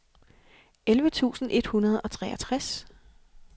elleve tusind et hundrede og treogtres